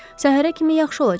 Səhərə kimi yaxşı olacaqsan.